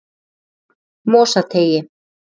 Mosateigi